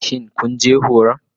Shin kun je horon?